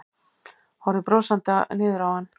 Horfði brosandi niður á hann.